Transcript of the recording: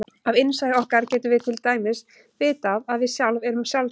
Af innsæi okkar getum við til dæmis vitað að við sjálf erum sjálf til.